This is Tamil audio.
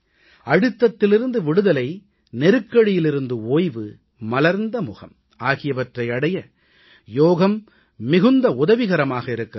அழுத்தத்திலிருந்து விடுதலை நெருக்கடியிருந்து ஓய்வு மலர்ந்த முகம் ஆகியவற்றை அடைய யோகம் மிகுந்த உதவிகரமாக இருக்கிறது